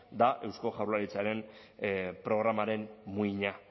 da eusko jaurlaritzaren programaren muina